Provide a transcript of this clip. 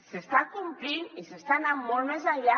s’està complint i s’està anant molt més enllà